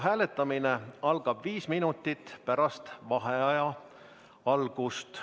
Hääletamine algab viis minutit pärast vaheaja algust.